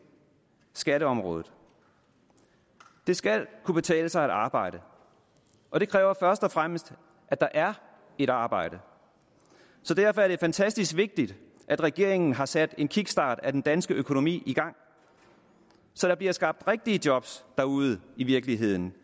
skatteområdet det skal kunne betale sig at arbejde og det kræver først og fremmest at der er et arbejde derfor er det fantastisk vigtigt at regeringen har sat en kickstart af den danske økonomi i gang så der bliver skabt rigtige job derude i virkeligheden